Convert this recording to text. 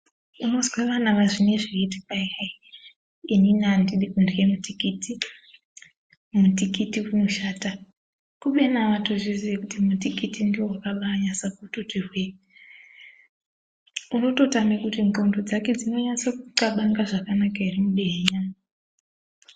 Unozwe vana vazvinoizvi vaiti kwai hai inini handidi kurye mutikiti mutikiti unoshata. Kubeni havatozvizii kuti mutikiti ndivo vakanyasa kutoti hwee. Unototama kuti ndxondo dzake dzinonyase kutxabanga zvakanaka ere mudehenya.